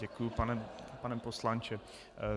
Děkuji, pane poslanče.